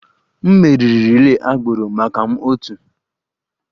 M meriri relay agbụrụ maka m otu